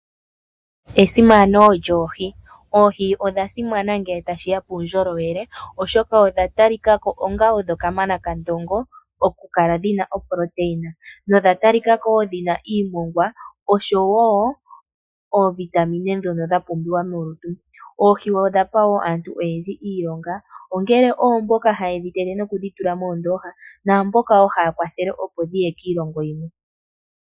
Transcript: Esimana lyoohi! Oohi odha simana ngele tashi ya puundjolowele oshoka odha tali ka ko onga odhokamana kandongo oku kala dhi na ooproteina, nodha talika ko wo dhi na iimongwa osho wo oovitamina dhono dha pumbiwa molutu. Oohi odha pa wo aantu oyendji iilonga, ongele oomboka haye dhi tege nokudhi tula moondoha, naamboka wo haya kwathele opo dhiye kiilongo yimwe.